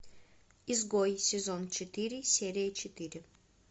изгой сезон четыре серия четыре